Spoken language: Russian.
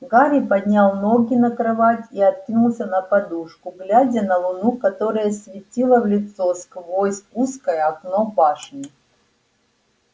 гарри поднял ноги на кровать и откинулся на подушку глядя на луну которая светила в лицо сквозь узкое окно башни